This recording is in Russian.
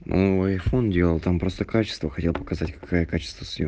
мм айфон делал там просто качество хотел показать какая качество съем